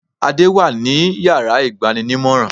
Adé wà ní yàrá ìgbaninímòràn